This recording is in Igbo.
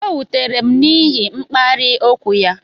O wutere m n'ihi mkparị okwu ya